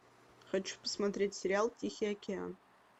хочу посмотреть сериал тихий океан